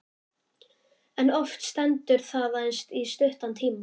En oft stendur það aðeins í stuttan tíma.